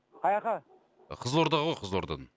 қаяққа қызылорда ғой қызылордадан